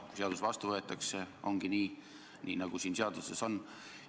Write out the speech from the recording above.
Kui seadus vastu võetakse, ongi nii, nagu siin seaduses on.